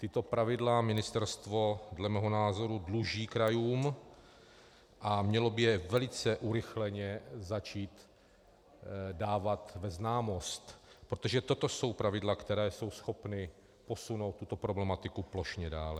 Tato pravidla ministerstvo dle mého názoru dluží krajům a mělo by je velice urychleně začít dávat ve známost, protože toto jsou pravidla, která jsou schopna posunout tuto problematiku plošně dále.